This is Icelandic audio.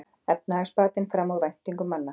Efnahagsbatinn fram úr væntingum manna